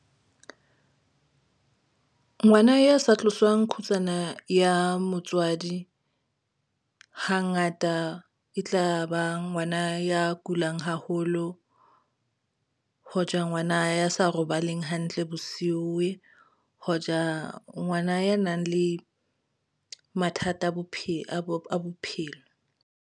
Ngwana ya sa tloswang kgutsana ya motswadi hangata e tla ba ngwana ya kulang haholo hoja ngwana ya sa robaleng hantle bosiu, hoja ngwana ya nang le mathata a bophelo.